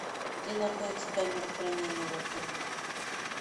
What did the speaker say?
где находится камера хранения в отеле